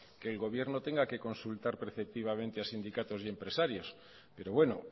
que el gobierno tenga que consultar preceptivamente a sindicatos y a empresarios pero bueno